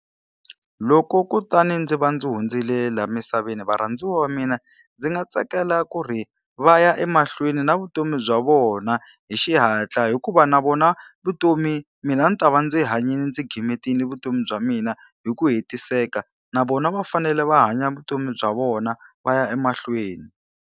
Loko kutani ndzi va ndzi hundzile laha emisaveni varhandziwa va mina, ndzi nga tsakela ku ri va ya emahlweni na vutomi bya vona hi xihatla hikuva na vona vutomi mina ni ta va ndzi hanyile ndzi gimetile vutomi bya mina hi ku hetiseka. Na vona va fanele va hanya vutomi bya vona va ya emahlweni.